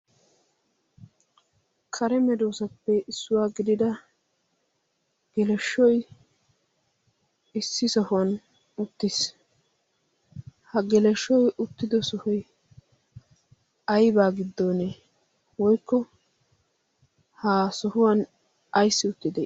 kare meroosappe issuwaa gidida gelashshoy issi sohuwan uttiis ha gelashshoy uttido sohoy aybaa giddonee woykko ha sohuwan ayssi uttide